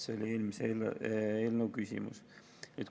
See oli eelmise eelnõu küsimus.